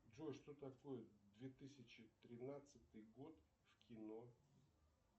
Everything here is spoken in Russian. джой что такое две тысячи тринадцатый год в кино